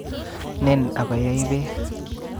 Nen abayai beek